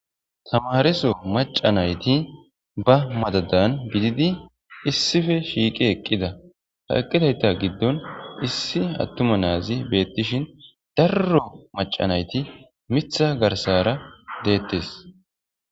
Tamareso macanayti ba madadan bididi issife shiiqi eqqida ha eqqidayta giddon issi attuma naazi beettishin darro macanayti mitha garsara deettes